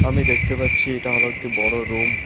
আমি দেখতে পাচ্ছি এটা হলো একটি বড় রুম ।